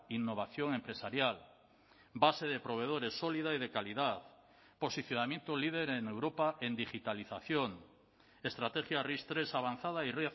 innovación empresarial base de proveedores sólida y de calidad posicionamiento líder en europa en digitalización estrategia ris tres avanzada y